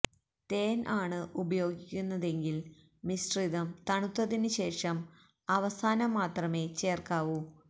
തേന് ആണ് ഉപയോഗിക്കുന്നതെങ്കില് മിശ്രിതം തണുത്തതിന് ശേഷം അവസാനം മാത്രമെ ചേര്ക്കാവു